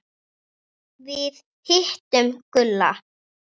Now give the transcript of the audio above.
Við hittum Gulla.